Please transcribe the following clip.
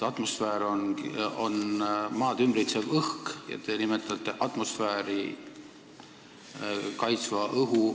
Atmosfäär on Maad ümbritsev õhk ja te räägite atmosfääri õhu kaitsest.